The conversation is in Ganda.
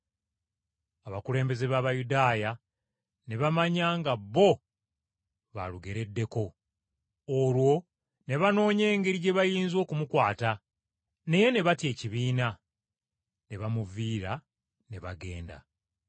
Abakulembeze b’Abayudaaya ne bamanya ng’olugero lwali lukwata ku bo, olwo ne banoonya engeri gye bayinza okumukwata, naye ne batya ekibiina. Ne bamuviira ne bagenda.